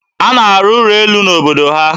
Ọ na-arụ ụlọ elu n'obodo ya.